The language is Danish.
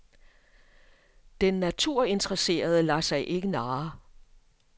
Den naturinteresserede lader sig ikke narre.